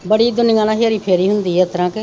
ਬਰੀਆ ਦੁਨੀਆ ਨਾ ਹੇਰਾ ਫੇਰੀ ਹੁੰਦੀ ਉਸਤਰਾ ਕੇ।